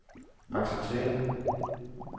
acceptere